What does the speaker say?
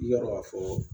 I y'a dɔn ka fɔ